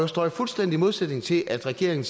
står i fuldstændig modsætning til at regeringen